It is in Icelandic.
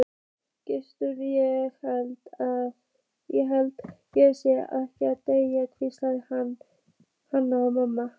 Gunnsteinn, ég held ég sé að deyja, hvíslaði Hanna-Mamma.